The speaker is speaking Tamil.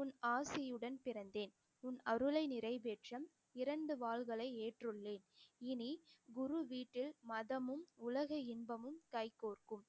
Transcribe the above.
உன் ஆசியுடன் பிறந்தேன் உன் அருளை நிறைவேற்ற இரண்டு வாள்களை ஏற்றுள்ளேன் இனி குரு வீட்டில் மதமும் உலக இன்பமும் கைகோர்க்கும்